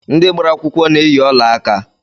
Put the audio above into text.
Ndị gbara akwụkwọ na-eyi ọlaaka